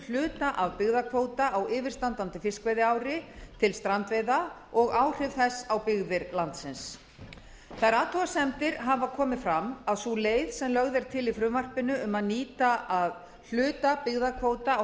hluta af byggðakvóta á yfirstandandi fiskveiðiári til strandveiða og áhrif þess á byggir landsins þær athugasemdir hafa komið fram að sú leið sem lögð er til í frumvarpinu um að nýta að hluta byggðakvóta á